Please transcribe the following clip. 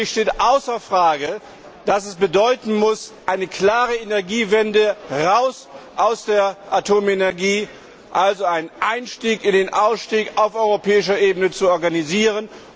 Für mich steht außer Frage, dass dies bedeuten muss, eine klare Energiewende raus aus der Atomenergie also einen Einstieg in den Ausstieg auf europäischer Ebene zu organisieren.